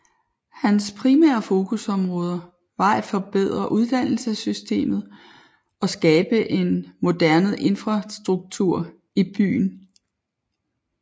Hans primære fokusområder var at forbedre uddannelsessystemet og skabe en moderne infrastruktur i byen